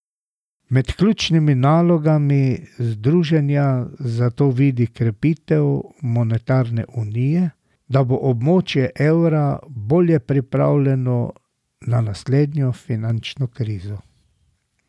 Med ključnimi nalogami združenja zato vidi krepitev monetarne unije, da bo območje evra bolje pripravljeno na naslednjo finančno krizo.